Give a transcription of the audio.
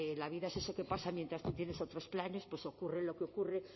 la vida es eso que pasa mientras tú tienes otros planes pues ocurre lo que ocurre